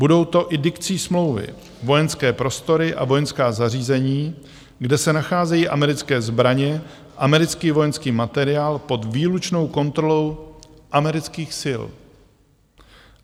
Budou to i dikcí smlouvy vojenské prostory a vojenská zařízení, kde se nacházejí americké zbraně, americký vojenský materiál pod výlučnou kontrolou amerických sil.